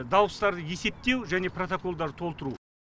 дауыстарды есептеу және протоколдарды толтыру